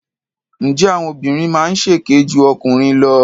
Ǹjẹ́ àwọn obìnrin máa ń ṣèké ju ọkùnrin lọ?